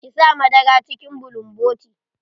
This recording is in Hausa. Ki sa madara cikin bulumboti.